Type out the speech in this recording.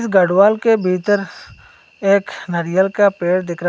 गढ़वाल के भीतर एक नारियल का पेड़ दिख रहा--